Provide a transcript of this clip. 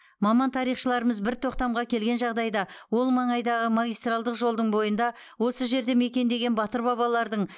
маман тарихшыларымыз бір тоқтамға келген жағдайда ол маңайдағы магистральдық жолдың бойында осы жерді мекендеген батыр бабалардың